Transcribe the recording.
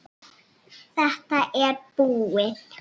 Þetta er búið